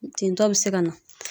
Tintɔ be se ka na